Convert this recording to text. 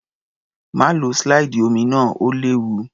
Má lo slide omi náà, ó léwu.